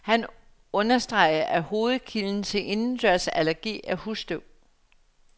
Han understreger, at hovedkilden til indendørsallergi er husstøv.